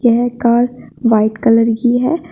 यह car white colour की है।